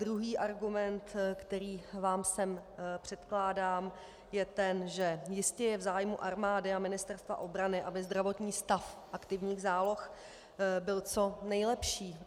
Druhý argument, který vám sem předkládám, je ten, že jistě je v zájmu armády a Ministerstva obrany, aby zdravotní stav aktivních záloh byl co nejlepší.